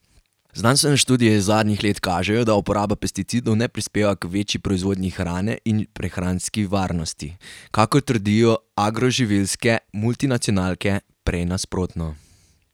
Znanstvene študije iz zadnjih let kažejo, da uporaba pesticidov ne prispeva k večji proizvodnji hrane in prehranski varnosti, kakor trdijo agroživilske multinacionalke, prej nasprotno.